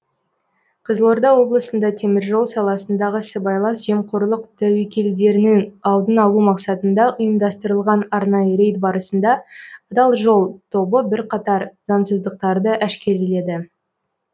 қызылорда облысында теміржол саласындағы сыбайлас жемқорлық тәуекелдерінің алдын алу мақсатында ұйымдастырылған арнайы рейд барысында адал жол тобы бірқатар заңсыздықтарды әшкереледі